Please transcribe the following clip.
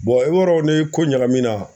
i b'a dɔn ni ko ɲagami na